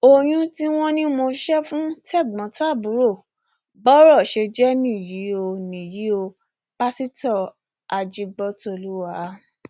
oyún tí wọn ní mo ṣe fún tẹgbọntàbúrò bọrọ ṣe jẹ nìyí o nìyí o pásítọ ajígbọtọlùwà